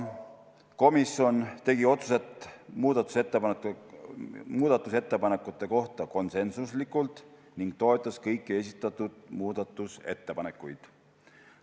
Komisjon tegi otsused muudatusettepanekute kohta konsensusega, toetades kõiki esitatud muudatusettepanekuid.